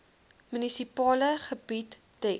munisipale gebied dek